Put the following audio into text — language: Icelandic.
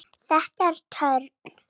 Þetta er törn.